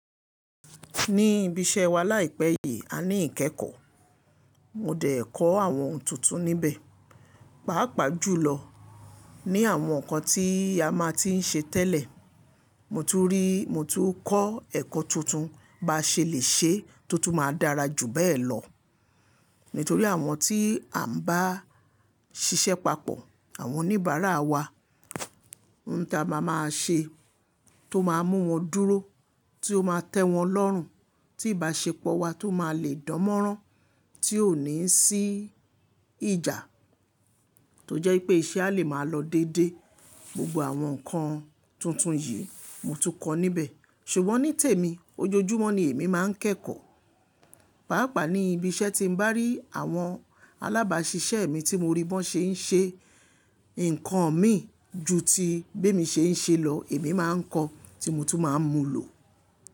Ní ibi iṣẹ́ wa láìpẹ́ yìí, a ní ìkẹ́ekọ̀. Mo dẹ̀ kọ́ àwọn ohun tuntun níbẹ̀. Pàápàá jùlọ ní àwọn nǹkan tí a máa ti ń ṣe tẹ́lẹ̀, mo tún kọ́ ẹ̀kọ́ tuntun bá ṣe lè ṣee tó tún máa dára jù bẹ́ẹ̀ lọ. Nítorí àwọn tí à ń bá ṣiṣẹ́ papọ̀, àwọn oníbàárà wa, ohun tí a máa máa ṣe tó máa mú wọn dúró, tí ó máa tẹ́ wọn lọ́rùn, tí ìbáṣepọ̀ wa máa lè dánmọ́rán, tí ò ní sí ìjà, tó jẹ́ wipé iṣẹ́ a lè máa lọ déedé. Gbogbo àwọn nǹkan tuntun yìí ni mo tún kọ́ níbẹ̀. Ṣùgbọ́n ní tèmi, ojoojúmọ́ ni èmi máa ń kẹ́kọ̀ọ́. Pàápàá ní ibi iṣẹ́, tí mo bá rí àwọn alábáṣiṣẹ́ mi tí mo rí bi wọn ṣe ń ṣe nǹkan mii ju ti bemi ṣe ń ṣe lọ, èmi máa ń kọ́, tí mo tún máa ń mú lò.